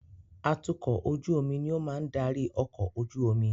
Atukọ̀ ojú omi ni ó máa ń darí ọkọ̀ ojú omi.